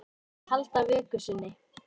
Að halda vöku sinni